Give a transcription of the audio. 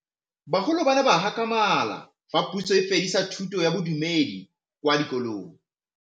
Bagolo ba ne ba gakgamala fa Pusô e fedisa thutô ya Bodumedi kwa dikolong.